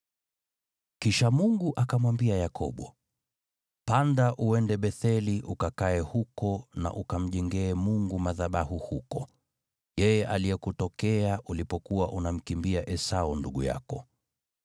Kisha Mungu akamwambia Yakobo, “Panda uende Betheli ukakae huko na ukamjengee Mungu madhabahu huko, Yeye aliyekutokea ulipokuwa unamkimbia Esau ndugu yako.”